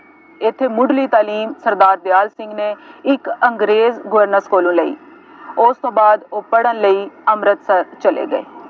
ਇੱਥੇ ਮੁੱਢਲੀ ਤਾਲੀਮ ਸਰਦਾਰ ਦਿਆਲ ਸਿੰਘ ਨੇ ਇੱਕ ਅੰਗਰੇਜ਼ ਗਵਰਨਰ ਕੋਲੋਂ ਲਈ, ਉਸ ਤੋਂ ਬਾਅਦ ਉਹ ਲਈ ਅੰਮ੍ਰਿਤਸਰ ਚਲੇ ਗਏ।